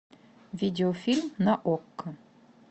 видеофильм на окко